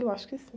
Eu acho que sim.